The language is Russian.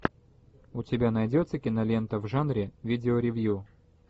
у тебя найдется кинолента в жанре видео ревью